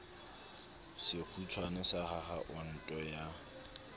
sekgutshwane sa akha onte ya